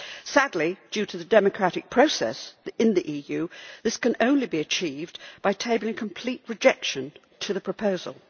Sadly, due to the democratic process in the EU, this can only be achieved by tabling a complete rejection of the proposal.